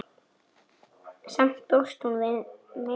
Samt bjóst hún við meiru.